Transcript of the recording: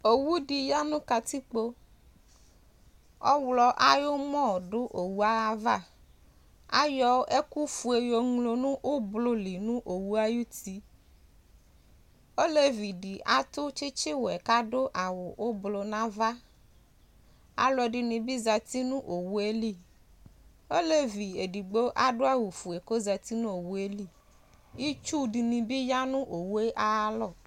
owʋdi yanʋ katikpo awlɔ ayʋmɔdʋ owʋava ayɔ ɛkʋƒʋe yoŋlo nʋ ʋblʋli nʋ owʋayʋti olevidi atʋ tsitsiwɛ kadʋ awʋ ʋblʋʋ nava alʋɛdinibi zati nʋ owʋeli olevi edigbo adʋ awʋƒʋe kozati nʋ owʋeli itsʋ dini bi yanʋ owʋe ayalɔ